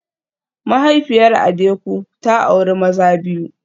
Mahaifiyar Adeku ta auri maza biyu